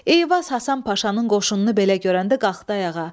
Eyvaz Həsən Paşanın qoşununu belə görəndə qalxdı ayağa.